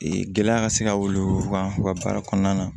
Ee gɛlɛya ka se ka wuli u kan u ka baara kɔnɔna na